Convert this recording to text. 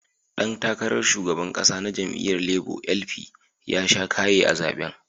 Dan takarar shugaban kasa na jam'iyyar Labour (LP) ya sha kaya a zaben.